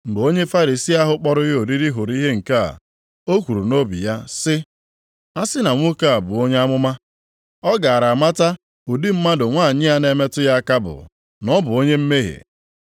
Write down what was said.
Mgbe onye Farisii ahụ kpọrọ ya oriri hụrụ ihe nke a, o kwuru nʼobi ya sị, “A sị na nwoke a bụ onye amụma, ọ gaara amata ụdị mmadụ nwanyị a na-emetụ ya aka bụ, na ọ bụ onye mmehie.”